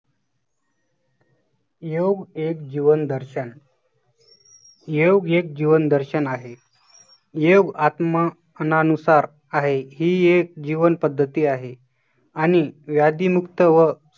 योग एक जीवन दर्शन योग एक जीवनदर्शन आहे. योग आत्मा अनानुसार आहे ही एक जीवन पद्धती आहे आणि व्याधीमुक्त व